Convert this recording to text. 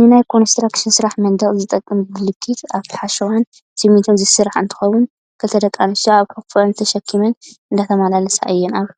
ንናይ ኮንስትራክሽ ስራሕ መንደቅ ዝጠቅም ብሉኬት ካብ ሓሸዋን ስሚንቶን ዝስራሕ እንትከውን፣ ክልተ ደቂ ኣንስትዮ ኣብ ሑቆአን ተሸኪመን እንዳተመላለሳ እየን። ኣብ